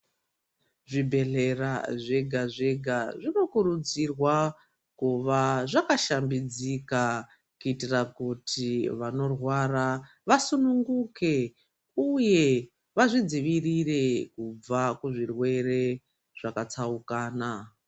Zvibhehlera zvega zvega zvinokurudzirwa kuva zvakashambidzika kuitira kuti vanorwara vasununguke uye vazvidzivirire kubva kuzvirwere zvakatsaukana.